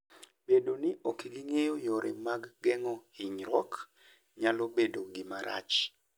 Bedo ni ok ging'eyo yore mag geng'o hinyruok, nyalo bedo gima rach.